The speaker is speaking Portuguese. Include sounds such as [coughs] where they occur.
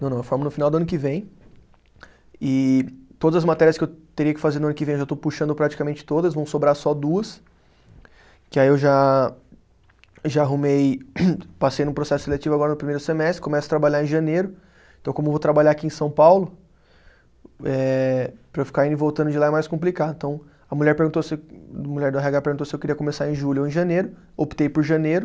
Não, não, eu formo no final do ano que vem, e todas as matérias que eu teria que fazer no ano que vem, eu já estou puxando praticamente todas, vão sobrar só duas, que aí eu já já arrumei, [coughs] passei num processo seletivo agora no primeiro semestre, começo a trabalhar em janeiro, então como eu vou trabalhar aqui em São Paulo, eh para eu ficar indo e voltando de lá é mais complicado, então a mulher perguntou se eu, a mulher do erre agá perguntou se eu queria começar em julho ou em janeiro, optei por janeiro,